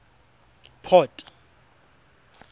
port